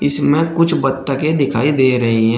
इसमें कुछ बत्तके दिखाई दे रही है।